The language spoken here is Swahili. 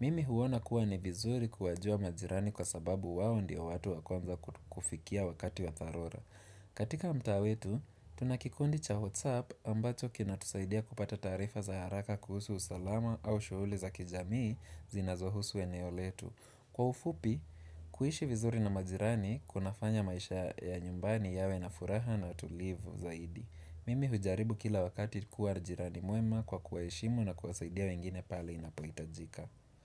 Mimi huona kuwa ni vizuri kuwajua majirani kwa sababu wao ndio watu wa kwanza kufikia wakati wa dharura katika mtaa wetu, tuna kikundi cha WhatsApp ambacho kina tusaidia kupata taarifa za haraka kuhusu usalama au shughuli za kijamii zinazohusu eneo letu. Kwa ufupi, kuishi vizuri na majirani kuna fanya maisha ya nyumbani yawe na furaha na utulivu zaidi. Mimi hujaribu kila wakati kuwa jirani mwema kwa kuwaheshimu na kuwasaidia wengine pale inapohitajika.